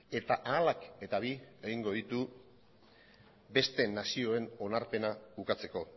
eta ahalak eta bi egingo ditu beste nazioen onarpena ukatzeko